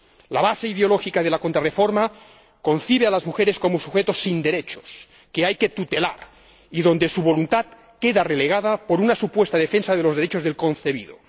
La base ideológica de la contrarreforma concibe a las mujeres como sujetos sin derechos que hay que tutelar y cuya voluntad queda relegada por una supuesta defensa de los derechos del concebido.